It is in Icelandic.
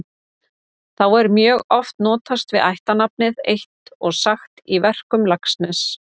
Þá er mjög oft notast við ættarnafnið eitt og sagt í verkum Laxness.